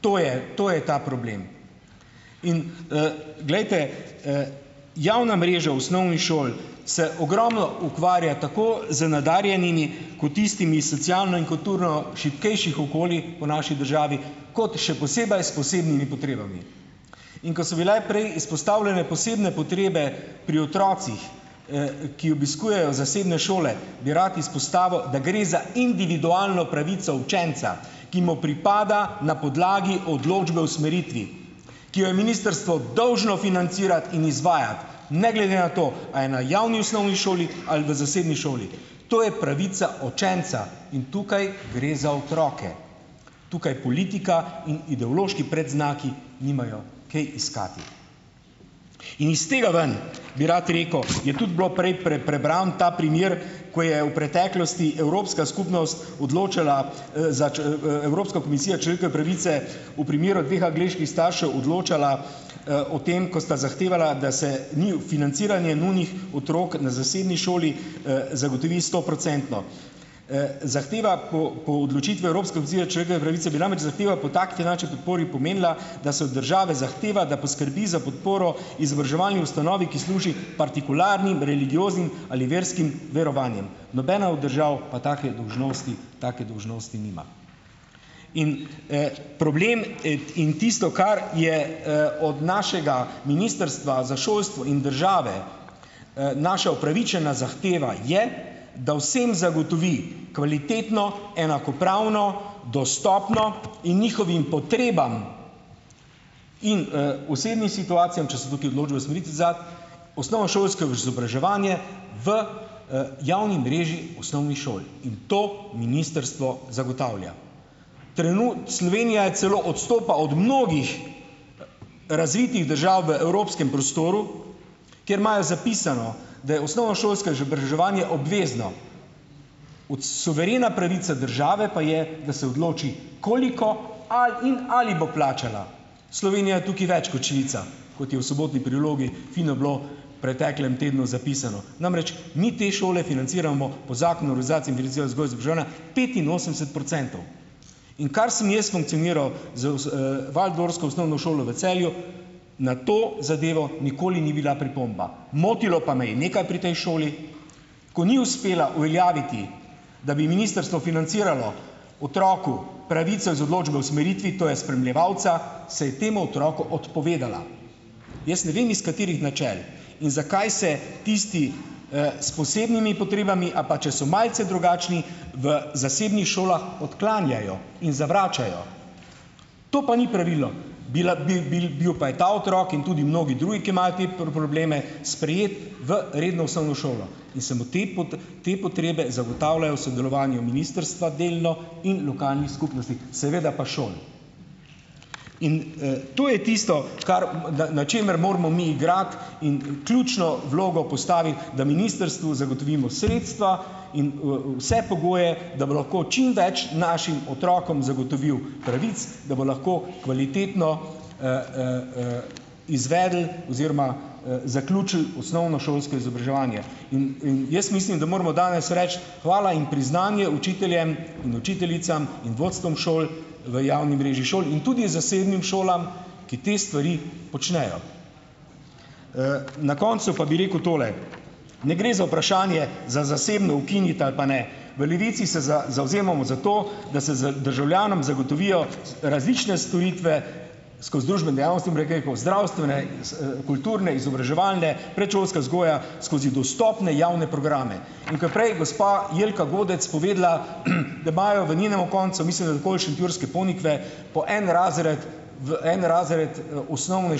To je to je ta problem. In, glejte, javna mreža osnovnih šol se ogromno ukvarja tako z nadarjenimi kot tistimi socialno in kulturno šibkejših okolij po naši državi kot še posebej s posebnimi potrebami. In ko so bile prej izpostavljene posebne potrebe pri otrocih, ki obiskujejo zasebne šole, bi rad izpostavil, da gre za individualno pravico učenca, ki mu pripada na podlagi odločbe o usmeritvi, ki jo je ministrstvo dolžno financirati in izvajati, ne glede na to, a je na javni osnovni šoli ali v zasebni šoli, to je pravica učenca in tukaj gre za otroke. Tukaj politika in ideološki predznaki nimajo kaj iskati. In iz tega ven, bi rad rekel, je tudi bilo prej prebran ta primer, ko je v preteklosti Evropska skupnost odločala, za Evropska komisija človekove pravice, v primeru dveh angleških staršev odločala, o tem, ko sta zahtevala, da se financiranje njunih otrok na zasebni šoli, zagotovi stoprocentno. Zahteva po, po odločitvi Evropske človekove pravice bi namreč zahteva po finančni podpori pomenila, da se od države zahteva, da poskrbi za podporo izobraževalni ustanovi, ki služi partikularnim, religioznim ali verskim verovanjem. Nobena od držav pa take dolžnosti, take dolžnosti nima in, problem, in tisto, kar je, od našega ministrstva za šolstvo in države, naša upravičena zahteva je, da vsem zagotovi kvalitetno, enakopravno, dostopno in njihovim potrebam in, osebnim situacijam, osnovnošolsko izobraževanje v, javni mreži osnovnih šol in to ministrstvo zagotavlja. Slovenija celo odstopa od mnogih razvitih držav v evropskem prostoru, kjer imajo zapisano, da je osnovnošolsko izobraževanje obvezno, suverena pravica države pa je, da se odloči, koliko in ali bo plačala. Slovenija je tukaj več kot Švica, kot je v Sobotni prilogi fino bilo, preteklem tednu, zapisano. Namreč, mi te šole financiramo po zakonu petinosemdeset procentov, in kar sem jaz funkcioniral z waldorsko osnovno šolo v Celju, na to zadevo nikoli ni bila pripomba. Motilo pa me je nekaj pri tej šoli, ko ni uspela javiti, da bi ministrstvo financiralo otroku pravico iz odločbe o usmeritvi, to je spremljevalca, se je temu otroku odpovedala. Jaz ne vem, iz katerih načel in zakaj se tisti, s posebnimi potrebami, a pa če so malce drugačni, v zasebnih šolah odklanjajo in zavračajo. To pa ni pravilo, bila bil bil bil pa je ta otrok in tudi mnogi drugi, ki imajo te probleme, sprejet v redno osnovno šolo in se mu te te potrebe zagotavljajo v sodelovanju ministrstva, delno, in lokalnih skupnosti, seveda pa šol in, to je tisto, kar na na čemer moramo mi igrati in ključno vlogo da ministrstvu zagotovimo sredstva in vse pogoje, da bo lahko čim več našim otrokom zagotovilo pravic, da bo lahko kvalitetno, izvedel oziroma zaključil osnovnošolsko izobraževanje, in, in jaz mislim, da moramo danes reči "hvala" in priznanje učiteljem in učiteljicam in vodstvom šol v javni mreži šol in tudi zasebnim šolam, ki te stvari počnejo. Na koncu pa bi rekel tole. Ne gre za vprašanje zasebno ukiniti ali pa ne. V Levici se zavzemamo za to, da se za državljanom zagotovijo različne storitve skozi dejavnosti zdravstvene kulturne, izobraževalne, predšolska skozi dostopne javne programe, in ko je prej gospa Jelka Godec povedala, da imajo v njenemu koncu, mislim, da okoli šentjurske Ponikve, po en razred, v en razred, osnovne